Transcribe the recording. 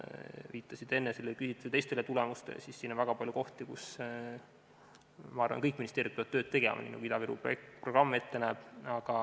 Viitasite siin enne küsitluse teistele tulemustele ja siin on väga palju kohti, kus kõik ministeeriumid peavad tööd tegema, nagu Ida-Viru programm ette näeb.